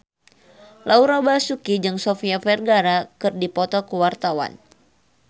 Laura Basuki jeung Sofia Vergara keur dipoto ku wartawan